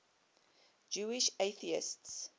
jewish atheists